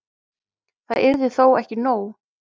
Það yrði þó ekki nóg.